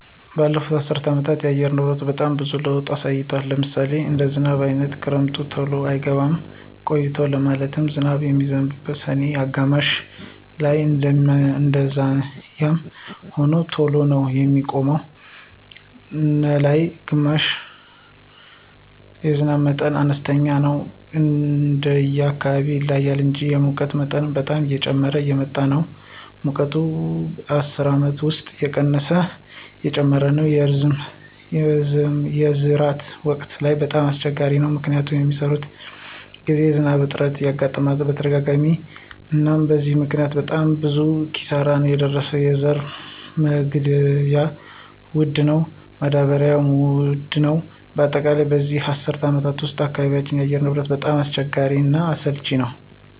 በለፉት አሰር አመታት የአካባቢ አየር ንብረት በጣም ብዙዎች ለውጦች አሳይቷል። ለምሳሌ እንደ ዝናብ አይነት ክረምቱ ተሎ አይገባም ቆይቶ ማለትም ዝናብ የሚዝንበው ሰኔ አጋማሽ ላይነው እንደዛዚያም ሆኖ ተሎ ነው የሚቆመው ነላይ ግማሽ ላይ የዝናብ መጠኑም አነስተኛ ነው እንደየ አካባቢው ይለያያል እንጂ። የሙቀት መጠን በጣም እየጨመረ እየመጣ ነው ሙቀቱ በዚህ አስር አመት ውስጥ ቀስበቀስ እየጨመረ ነው። የመዝራት ወቅት ላይ በጣም አሰቸጋሪ ነው። ምክንያቱም በሚሰራበት ግዜ የዝናብ እጥረት ያጋጥመናል በተደጋጋሚ አናም በዚህ ምክኒያት በጣም ብዙ ኪሳራ ነው የደረሰው የዘራ መግዢያ ወድ ነው ማዳበሪው ውድ ነው በአጠቃላይ በዚህ አስር አመት ውስጥ በአካባቢያቸው አየር ሁኔታው በጣም አስቸጋሪ እና አሰልች ነወ።